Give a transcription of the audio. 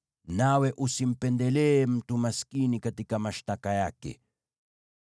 nawe usimpendelee mtu maskini katika mashtaka yake.